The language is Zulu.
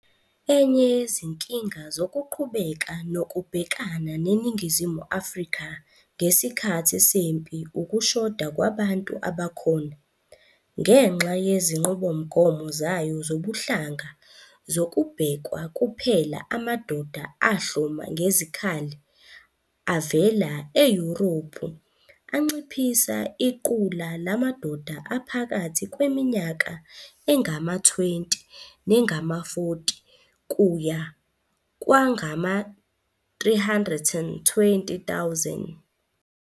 Enye yezinkinga zokuqhubeka nokubhekana neNingizimu Afrika ngesikhathi sempi ukushoda kwabantu abakhona. Ngenxa yezinqubomgomo zayo zobuhlanga kuzobhekwa kuphela amadoda ahloma ngezikhali avela eYurophu anciphisa iqula lamadoda aphakathi kweminyaka engama-20 nengama-40 kuya kwangama-320,000.